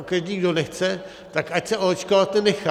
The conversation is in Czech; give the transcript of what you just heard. A každý, kdo nechce, tak ať se oočkovat nenechá.